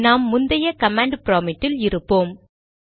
நாம் முந்தைய command prompt இல் இருப்போம்